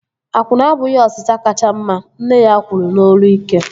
Akwụna abụghị osịsa kacha mma! Nne ya kwuru n'olu ike